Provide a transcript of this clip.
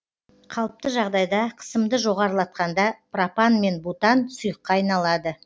қалыпты жағдайда қысымды жоғарылатқанда пропан мен бутан сұйыққа айналады